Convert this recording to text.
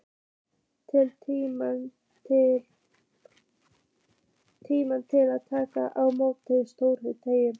Tími til að taka á móti stórum degi.